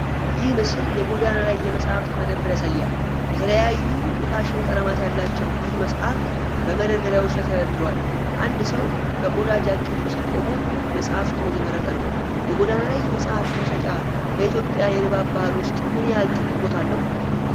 ይህ ምስል የጎዳና ላይ የመጻሕፍት መደብር ያሳያል። የተለያዩ የሽፋን ቀለማት ያላቸው ብዙ መጻሕፍት በመደርደሪያዎች ላይ ተደርድረዋል። አንድ ሰው በቆዳ ጃኬት ውስጥ ቆሞ መጻሕፍቱን እየመረጠ ነው። የጎዳና ላይ መጻሕፍት መሸጫ በኢትዮጵያ የንባብ ባህል ውስጥ ምን ያህል ትልቅ ቦታ አለው?